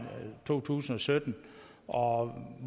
to tusind og sytten og